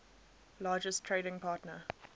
largest trading partner